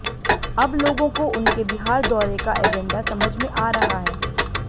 अब लोगों को उनके बिहार दौरे का एजेंडा समझ में आ रहा है